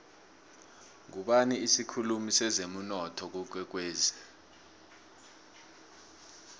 ngubani isikhulumi sezemunotho kwakwekwezi